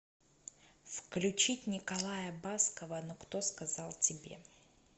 включить николая баскова ну кто сказал тебе